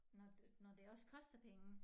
Når når det også koster penge